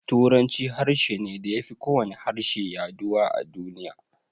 Turanci harshe ne da ya fi kowane harshe yaduwa a duniya.